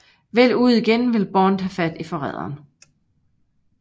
Vel ude igen vil Bond have fat i forræderen